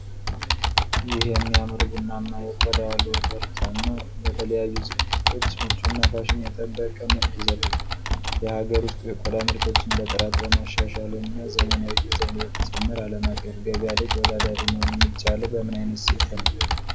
ይህ የሚያምር ቡናማ የቆዳ ሎፈር ጫማ ለተለያዩ ዝግጅቶች ምቹና ፋሽን የጠበቀ መልክ ይሰጣል። የሀገር ውስጥ የቆዳ ምርቶችን ጥራት በማሻሻልና ዘመናዊ ዲዛይን በመጨመር ዓለም አቀፍ ገበያ ላይ ተወዳዳሪ መሆን የሚቻለው በምን ዓይነት ስልት ነው?